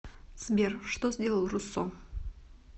сбер что сделал руссо